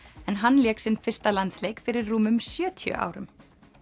en hann lék sinn fyrsta landsleik fyrir rúmum sjötíu árum